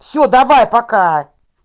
все давай пока